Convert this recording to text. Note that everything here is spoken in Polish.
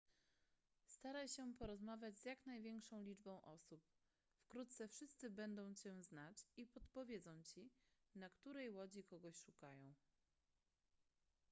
staraj się porozmawiać z jak największą liczbą osób wkrótce wszyscy będą cię znać i podpowiedzą ci na której łodzi kogoś szukają